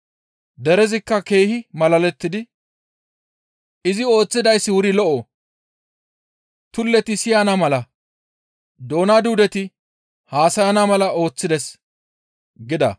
Derezikka keehi malalettidi, «Izi ooththidayssi wuri lo7o; tulleti siyana mala, doona duudeti haasayana mala ooththides» gida.